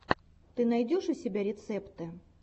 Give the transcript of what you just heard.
ты найдешь у себя рецепты